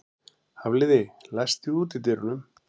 Hafliði, læstu útidyrunum.